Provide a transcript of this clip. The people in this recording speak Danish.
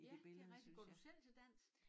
Ja det rigtigt går du selv til dans?